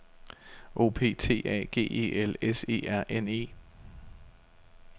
O P T A G E L S E R N E